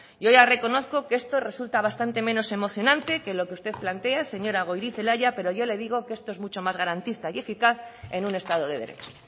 yo ya reconozco que esto resulta bastante menos emocionante que lo que usted plantea señora goirizelaia pero yo le digo que esto es mucho más garantista y eficaz en un estado de derecho